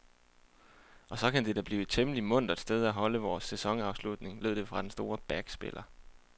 Og så kan det det da blive et temmelig muntert sted at holde vores sæsonafslutning, lød det fra den store backspiller.